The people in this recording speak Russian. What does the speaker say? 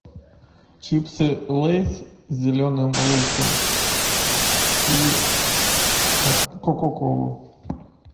чипсы лейс с зеленым луком и кока колу